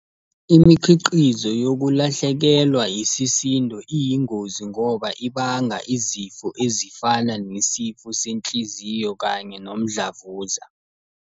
Imikhiqizo yokulahlekelwa isisindo iyingozi ngoba ibanga izifo ezifana nesifo senhliziyo kanye nomdlavuza.